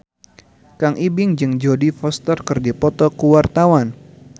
Kang Ibing jeung Jodie Foster keur dipoto ku wartawan